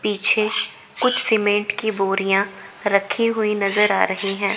पीछे कुछ सीमेंट की बोरियां रखी हुई नजर आ रही हैं।